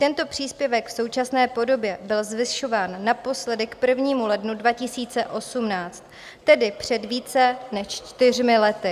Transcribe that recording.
Tento příspěvek v současné podobě byl zvyšován naposledy k 1. lednu 2018, tedy před více než čtyřmi lety.